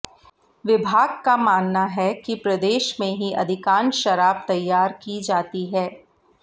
विभाग का मानना है कि प्रदेश में ही अधिकांश शराब तैयार की जाती है